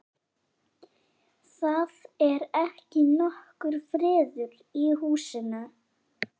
Það er ekki nokkur friður í húsinu.